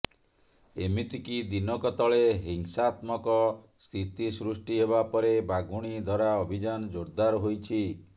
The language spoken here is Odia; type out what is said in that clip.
ଏମିତିକି ଦିନକ ତଳେ ହିଂସାତ୍ମକ ସ୍ଥିତି ସୃଷ୍ଟି ହେବା ପରେ ବାଘୁଣୀ ଧରା ଅଭିଯାନ ଜୋର୍ଦାର୍ ହୋଇଛି